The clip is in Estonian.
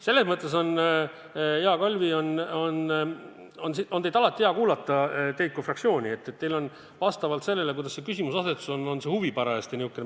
Selles mõttes on, hea Kalvi, teid kui fraktsiooni alati hea kuulata, et teil on vastavalt sellele, kuidas küsimuse asetus on, see huvi parajasti nihukene.